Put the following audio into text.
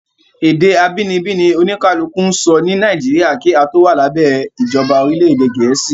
Ède abínibí ni oníkálukú ń sọ ni Nàìjíríà kí a tó wà lábẹ ìjọba orílẹ̀ ède Gẹ̀ẹ́sì.